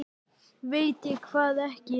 Veit ég hvað ekki?